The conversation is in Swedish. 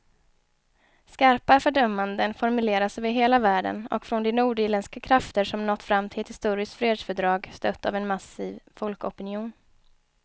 Skarpa fördömanden formuleras över hela världen och från de nordirländska krafter som nått fram till ett historiskt fredsfördrag, stött av en massiv folkopinion.